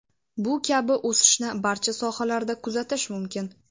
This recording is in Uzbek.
Bu kabi o‘sishni barcha sohalarda kuzatish mumkin!